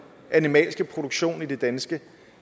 animalske produktion i det danske